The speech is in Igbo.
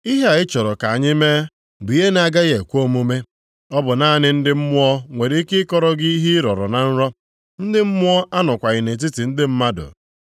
Ihe a ị chọrọ ka anyị mee bụ ihe na-agaghị ekwe omume. Ọ bụ naanị ndị mmụọ nwere ike ịkọrọ gị ihe ị rọrọ na nrọ. Ndị mmụọ anọkwaghị nʼetiti ndị mmadụ.”